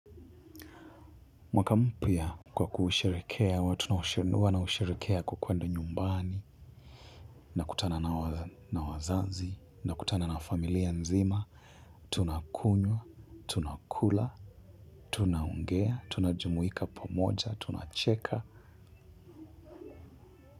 Mwaka mpya kwa kusherehekea, huwa nausherehekea kwa kwende nyumbani, na kutana na wazazi, na kutana na familia nzima, tuna kunywa, tunakula, tunaongea, tunajumuika pamoja, tunacheka.